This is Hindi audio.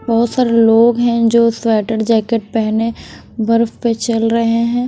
बहुत सारे लोग हैं जो स्वेटर जैकेट पहने बर्फ पे चल रहे हैं।